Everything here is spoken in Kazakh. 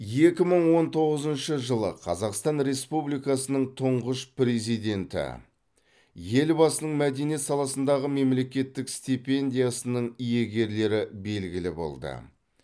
екі мың он тоғызыншы жылы қазақстан республикасының тұңғыш президенті елбасының мәдениет саласындағы мемлекеттік стипендиясының иегерлері белгілі болды